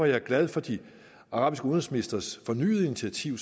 jeg glad for de arabiske udenrigsministres fornyede initiativ